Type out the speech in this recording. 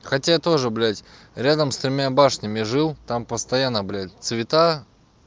хотя тоже блять рядом с тремя башнями жил там постоянно блять цвета